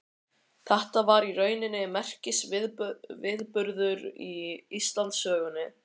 Þetta var í rauninni merkisviðburður í Íslandssögunni.